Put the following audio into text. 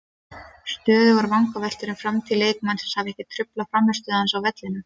Stöðugar vangaveltur um framtíð leikmannsins hafa ekki truflað frammistöðu hans inni á vellinum.